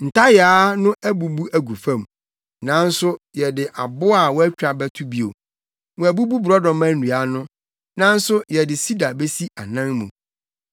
“Ntayaa no abubu agu fam nanso yɛde abo a wɔatwa bɛto bio. Wɔabubu borɔdɔma nnua no nanso yɛde sida besi anan mu.”